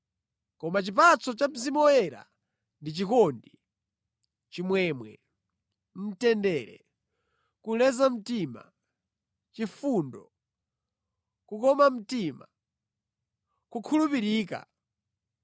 Koma chipatso cha Mzimu Woyera ndi chikondi, chimwemwe, mtendere, kuleza mtima, chifundo, kukoma mtima, kukhulupirika,